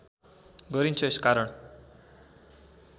गरिन्छ यस कारण